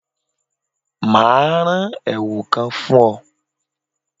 Mà á ran èwù kan fún ọ́